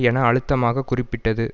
என அழுத்தமாக குறிப்பிட்டது